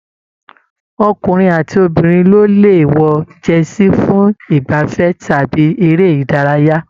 Ọkùnrin àti obìnrin ló lè wọ jẹsí fún igbafẹ̀ tàbí eré ìdárayá